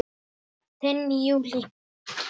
Þín Júlí.